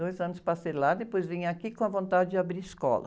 Dois anos passei lá, depois vim aqui com a vontade de abrir escola.